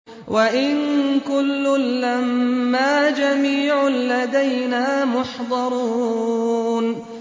وَإِن كُلٌّ لَّمَّا جَمِيعٌ لَّدَيْنَا مُحْضَرُونَ